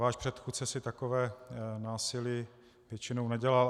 Váš předchůdce si takové násilí většinou nedělal.